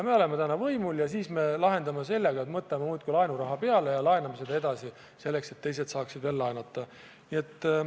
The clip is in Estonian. Me oleme täna võimul ja me lahendame kriisi sellega, et võtame muudkui laenuraha peale ja laename seda edasi selleks, et teised saaksid veel laenata.